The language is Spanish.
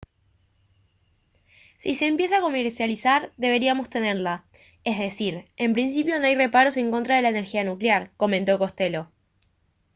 «si se empieza a comercializar deberíamos tenerla. es decir en principio no hay reparos en contra de la energía nuclear» comentó costello